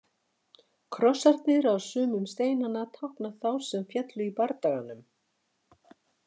Krossarnir á sumum steinanna tákna þá sem féllu í bardaganum.